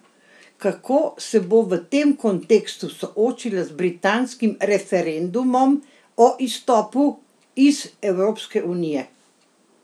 Kako se bo v tem kontekstu soočila z britanskim referendumom o izstopu iz Evropske unije?